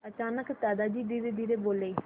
अचानक दादाजी धीरेधीरे बोले